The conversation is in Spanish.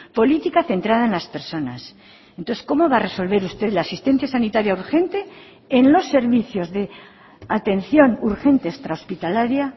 política centrada en las personas entonces cómo va a resolver usted la asistencia sanitaria urgente en los servicios de atención urgente extra hospitalaria